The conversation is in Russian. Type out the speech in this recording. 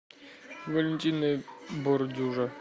валентина бордюжа